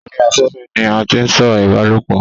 orí afẹ́fẹ́ ni a tí ń sọ̀rọ̀ ìbálòpọ̀